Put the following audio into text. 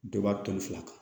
Dɔ ba toli fila kan